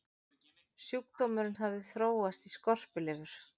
sjúkdómurinn hafði þróast í skorpulifur